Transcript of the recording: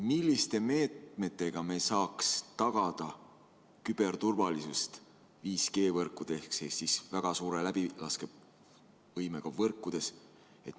Milliste meetmetega me saaks tagada küberturvalisust 5G-võrkudes ehk siis väga suure läbilaskevõimega võrkudes?